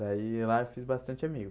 Daí lá eu fiz bastante amigos.